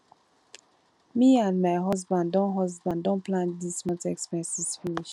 me and my husband don husband don plan dis month expenses finish